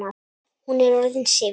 Hún er orðin syfjuð.